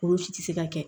Olu si tɛ se ka kɛ